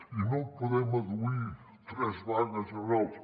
i no podem adduir tres vagues generals